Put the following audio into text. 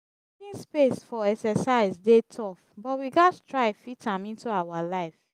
finding space for exercise dey tough but we gatz try fit am into our life.